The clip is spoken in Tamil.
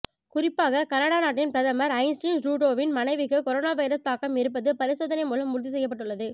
குறிப்பாக கனடா நாட்டின் பிரதமர் ஜஸ்டின் ட்ரூடோவின் மனைவிக்கு கொரோனா வைரஸ் தாக்கம் இருப்பது பரிசோதனை மூலம் உறுதி செய்யப்பட்டுள்ளது